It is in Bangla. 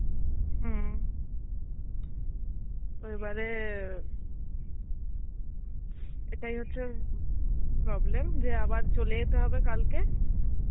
হম ঐবারে এটাই হচ্ছে problem যে আবার চলে যেতে হবে কালকে